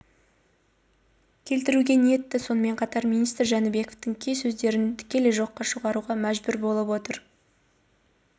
келтіруге ниетті сонымен қатар министр жәнібековтың кей сөздерін тікелей жоққа шығаруға мәжбүр болып отыр деп